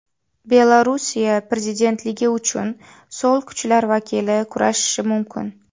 Belorussiya prezidentligi uchun so‘l kuchlar vakili kurashishi mumkin.